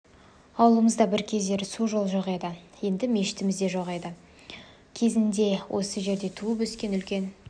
ауылымызда бір кездері су жол жоқ еді мешітіміз де жоқ еді кезінде осы жерде туып-өскен үлкен